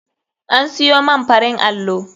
An siyo man farin allo.